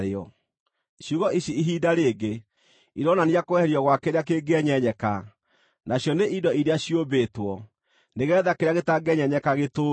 Ciugo ici, “ihinda rĩngĩ,” ironania kweherio gwa kĩrĩa kĩngĩenyenyeka, nacio nĩ indo iria ciũmbĩtwo, nĩgeetha kĩrĩa gĩtangĩenyenyeka gĩtũũre.